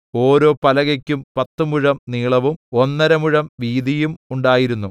ഓരോ പലകയ്ക്കും പത്തുമുഴം നീളവും ഒന്നര മുഴം വീതിയും ഉണ്ടായിരുന്നു